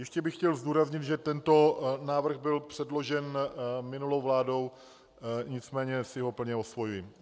Ještě bych chtěl zdůraznit, že tento návrh byl předložen minulou vládou, nicméně si ho plně osvojuji.